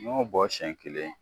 Ɲ'o bɔ siɲɛ kelen